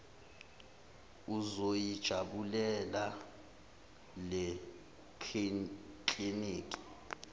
uzoyi jabulela lekliniki